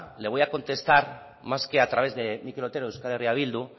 le voy a contestar más que a través de mikel otero de euskal herria bildu